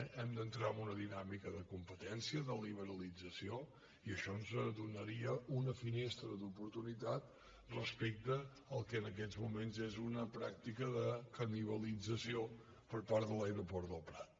hem d’entrar en una dinàmica de competència de liberalit·zació i això ens donaria una finestra d’oportunitat res·pecte al que en aquests moments és una pràctica de ca·nibalització per part de l’aeroport del prat